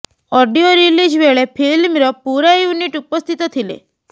audio release ବେଳେ ଫିଲ୍ମର ପୂରା ୟୁନିଟ୍ ଉପସ୍ଥିତ ଥିଲେ